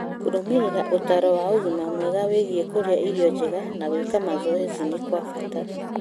Kũrũmĩrĩra ũtaaro wa ũgima mwega wĩgiĩ kũrĩa irio njega na gwĩka mazoezi ni kwa bata.